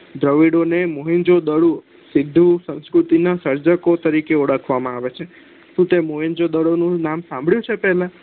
દવીડો ને મ્હેન્દ્રોજો દડો સીધું સંસ્કૃતિ ના સર્જકો તરીકે ઓળખવામાં આવે છે શું તે મોહેન્દ્ર્જો દડો નું નામ સાભળ્યું છે પેહલા